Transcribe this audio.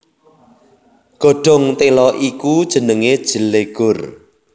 Godhong téla iku jenengé jlegur